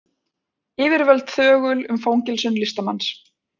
Yfirvöld þögul um fangelsun listamanns